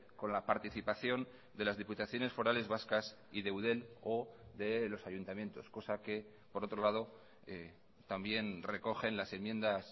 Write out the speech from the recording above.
con la participación de las diputaciones forales vascas y de eudel o de los ayuntamientos cosa que por otro lado también recogen las enmiendas